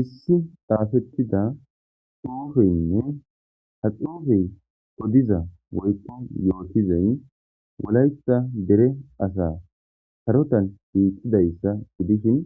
Issi xafeida xufey Des, ha xufezika odiza woyko yotuzay wolaita dere sarotan shiqidaysa gidishn